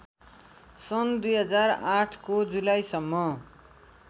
सन् २००८ को जुलाईसम्म